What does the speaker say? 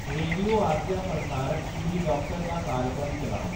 radio आसेआ प्रसारत खीरी डाक्टर दा कार्यक्रम चलाओ